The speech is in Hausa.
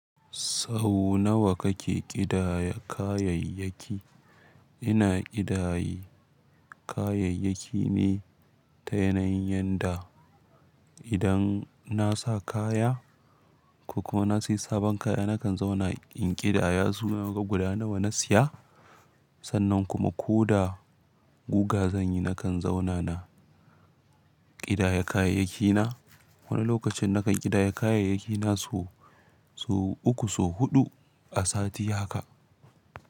Sau nawa kake ƙidaya kayayyaki? Ina ƙidaye kayayyaki ne ta yanayin yanda idan na sa kaya ko kuma na sayi sabon kaya nakan zauna in ƙidaya su guda nawa na siya sannan kuma ko da guga zan yi nakan zauna na ƙidaya kayayyaki na. Wani lokacin nakan ƙidaya kayayyaki na sau uku sau huɗu a sati haka.